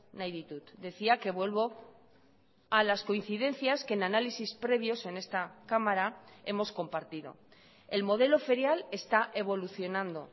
nahi ditut decía que vuelvo a las coincidencias que en análisis previos en esta cámara hemos compartido el modelo ferial está evolucionando